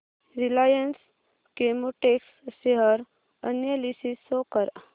Reliance Chemotex share analysis show कर